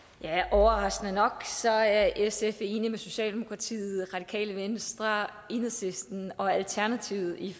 overraskende nok er sf enig med socialdemokratiet radikale venstre enhedslisten og alternativet i